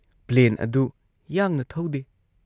Plane ꯑꯗꯨ ꯌꯥꯡꯅ ꯊꯧꯗꯦ ꯫